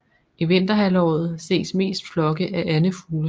I vinterhalvåret ses mest flokke af andefugle